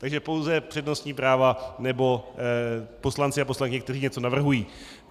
Takže pouze přednostní práva nebo poslanci a poslankyně, kteří něco navrhují.